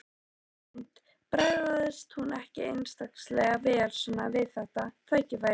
Hrund: Bragðast hún ekki einstaklega vel svona við þetta tækifæri?